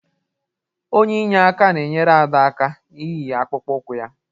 Onye inyeaka na-enyere Ada aka iyi akpụkpọ ụkwụ ya